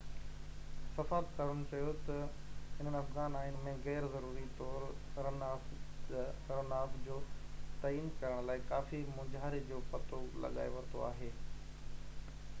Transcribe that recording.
سفارتڪارن چيو ته هنن افغان آئين ۾ غيرضروري طور رن آف جو تعين ڪرڻ لاءِ ڪافي مونجهاري جو پتو لڳائي ورتو آهي